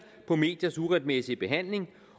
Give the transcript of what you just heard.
på mediers uretmæssige behandling